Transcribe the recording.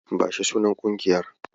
Bashi sunan ƙungiyar.